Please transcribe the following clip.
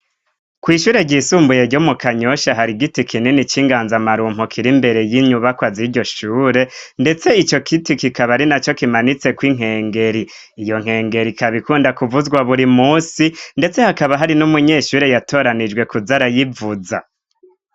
kwishure ryisumbuye ryo mu kanyosha hari giti kinini cy'inganza marumpu kiri mbere y'inyubakwa ziryo shure ndetse ico giti kikaba ari na co kimanitseko inkengeri iyo nkengeri ikaba ikunda kuvuzwa buri munsi ndetse hakaba hari n'umunyeshure yatoranijwe kuza arayivuza